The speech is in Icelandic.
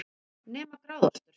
Nema gráðaostur,